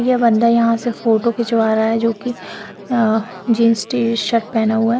यह बन्दा यहाँ से फोटो खिचवा रहा जो की जिन्स टीशर्ट पहना हुआ हैं।